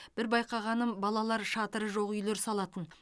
бір байқағаным балалар шатыры жоқ үйлер салатын